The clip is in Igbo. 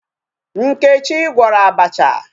Nkechi gwọrọ abacha.